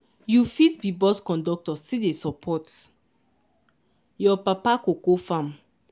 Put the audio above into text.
you fit be bus conductor still dey support your papa cocoa farm.